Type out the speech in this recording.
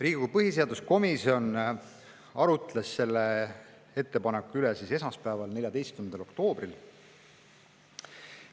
Riigikogu põhiseaduskomisjon arutles selle ettepaneku üle esmaspäeval, 14. oktoobril.